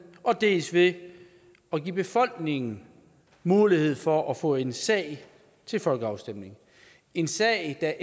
dels ved at give befolkningen mulighed for at få en sag til folkeafstemning en sag